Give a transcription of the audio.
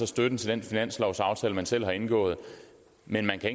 støtten til den finanslovsaftale man selv har indgået men man kan